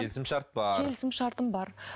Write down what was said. келісім шарт бар келісім шартым бар